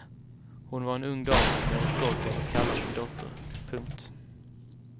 Hon var en ung dam som jag var stolt över att kalla min dotter. punkt